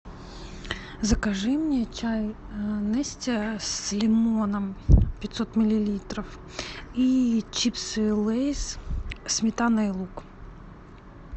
закажи мне чай нести с лимоном пятьсот миллилитров и чипсы лейс сметана и лук